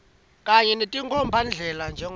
kanye netinkhombandlela njengobe